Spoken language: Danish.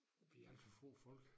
Vi alt for få folk